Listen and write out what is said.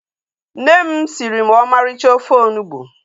Nne m siri m ọmarịcha ofe onugbu